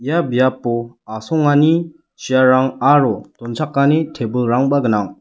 ia biapo asongani chair-rang aro donchakani tebilrangba gnang.